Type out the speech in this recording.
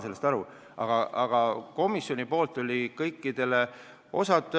Aga komisjonis oli kõikidele diskussioon avatud.